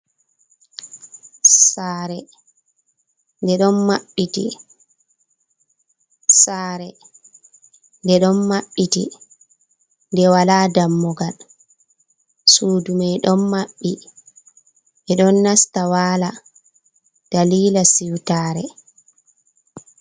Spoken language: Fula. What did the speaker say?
Sare de don maɓɓiti de wala dammugal sudu mai don maɓbi e don nasta wala dalila siwtare.